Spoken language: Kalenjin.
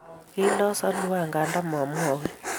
Kiilos Alua nganda momwoch